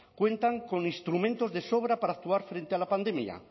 cuentan con instrumentos de sobra para actuar frente a la pandemia